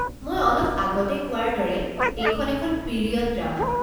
মই অলপ আগতে কোৱাৰ দৰে এইখন এখন পিৰিয়ড ড্ৰামা।